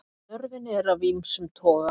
Störfin eru af ýmsum toga.